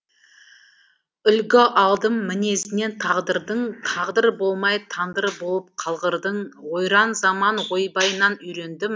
үлгі алдым мінезінен тағдырдың тағдыр болмай тандыр болып қалғырдың ойран заман ойбайынан үйрендім